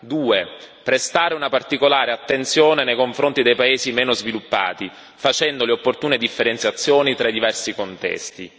2 prestare una particolare attenzione nei confronti dei paesi meno sviluppati, facendo le opportune differenziazioni tra i diversi contesti